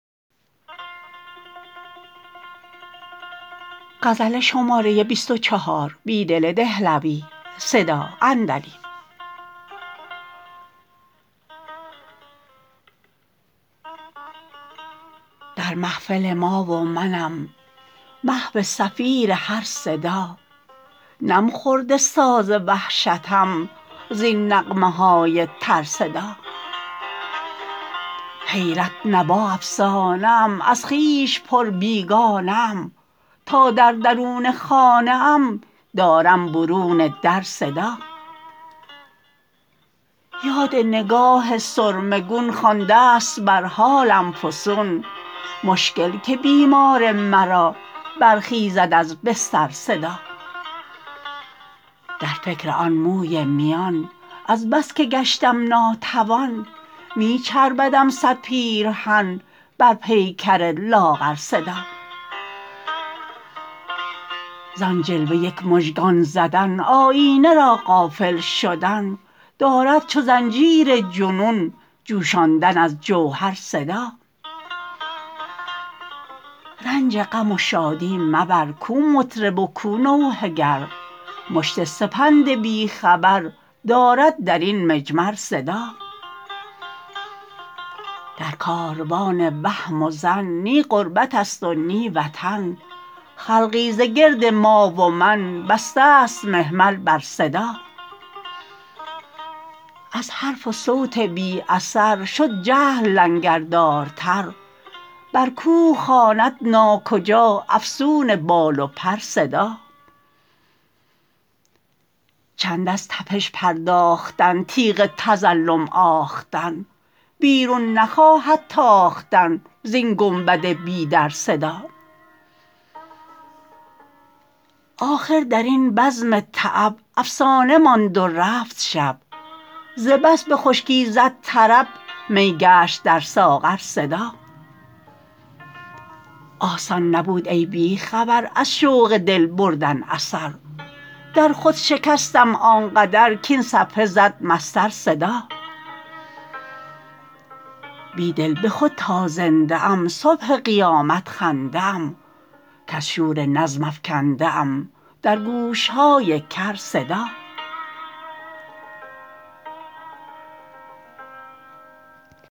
در محفل ما و منم محو صفیر هر صدا نم خورده ساز وحشتم زین نغمه های ترصدا حیرت نوا افسانه ام از خویش پر بیگانه ام تا در درون خانه ام دارم برون در صدا یاد نگاه سرمه گون خوانده ست بر حالم فسون مشکل که بیمار مرا برخیزد از بستر صدا در فکر آن موی میان از بس که گشتم ناتوان می چربدم صد پیرهن بر پیکر لاغر صدا زان جلوه یک مژگان زدن آیینه را غافل شدن دارد چو زنجیر جنون جوشاندن از جوهر صدا رنج غم و شادی مبر کو مطرب و کو نوحه گر مشت سپند بی خبر دارد درین مجمر صدا در کاروان وهم و ظن نی غربت است و نی وطن خلقی ز گرد ما و من بسته ست محمل بر صدا از حرف و صوت بی اثر شد جهل لنگردارتر بر کوه خواند ناکجا افسون بال و پر صدا چند از تپش پرداختن تیغ تظلم آختن بیرون نخواهد تاختن زین گنبد بی در صدا آخر درین بزم تعب افسانه ماند و رفت شب از بس به خشکی زد طرب می گشت در ساغر صدا آسان نبود ای بی خبر از شوق دل بردن اثر در خود شکستم آن قدر کاین صفحه زد مسطر صدا بیدل به خود تا زنده ام صبح قیامت خنده ام کز شور نظم افکنده ام درگوش های کر صدا